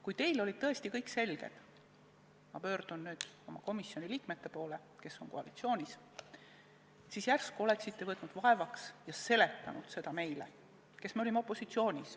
Kui teil oli tõesti kõik selge – ma pöördun nüüd oma komisjoni liikmete poole, kes on koalitsioonis –, siis järsku oleksite võtnud vaevaks ja seletanud seda meile, kes me oleme opositsioonis.